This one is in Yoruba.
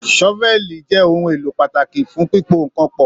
Sọ́fẹ̀lí jẹ ohùn èlò pàtàkì fún pipo nkán pọ.